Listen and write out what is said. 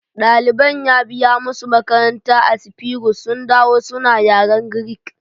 Ɗaliban ya biya musu makaranta a Sifurus sun dawo suna yaren Greek